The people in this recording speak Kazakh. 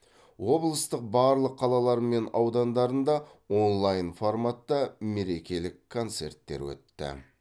облыстың барлық қалалары мен аудандарында онлайн форматта мерекелік концерттер өтті